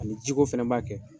Ani jiko fɛnɛ b'a kɛ.